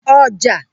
ọjà